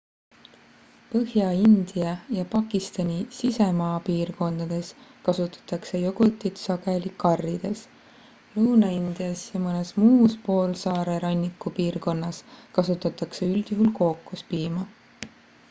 põhja-india ja pakistani sisemaapiirkondades kasutatakse jogurtit sageli karrides lõuna-indias ja mõnes muus poolsaare rannikupiirkonnas kasutatakse üldjuhul kookospiima